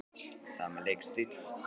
Sami leikstíll?